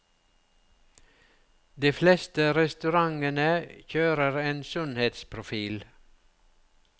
De fleste restaurantene kjører en sunnhetsprofil.